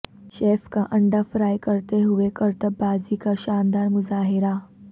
chef کا انڈہ fry کرتے ہوئے کرتب بازی کا شاندار مظاہرہ